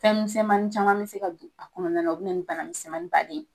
Fɛn misɛnmani caman be se ka don a kɔnɔna na. O be na ni bana misɛnmanin ba de ye.